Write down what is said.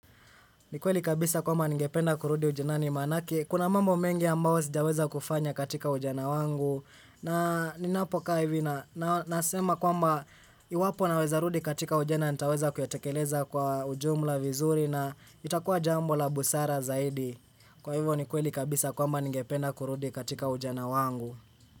Ni kweli kabisa kwamba ningependa kurudi ujanani maanake. Kuna mambo mengi ambayo sijaweza kufanya katika ujana wangu. Na ninapokaa hivi na nasema kwamba iwapo naweza rudi katika ujana nitaweza kuyatekeleza kwa ujumla vizuri na itakuwa jambo la busara zaidi. Kwa hivyo ni kweli kabisa kwamba ningependa kurudi katika ujana wangu.